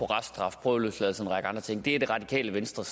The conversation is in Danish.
reststraf prøveløsladelse og en række andre ting er det radikale venstre